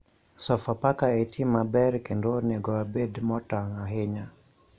Sofapaka e tim maber kendo onego wabed motang ahinya